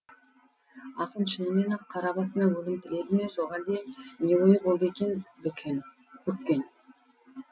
ақын шынымен ақ қара басына өлім тіледі ме жоқ әлде не ойы болды екен бүккен